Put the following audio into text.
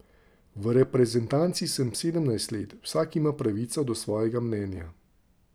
V reprezentanci sem sedemnajst let, vsak ima pravico do svojega mnenja.